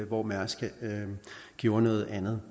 hvor mærsk gjort noget andet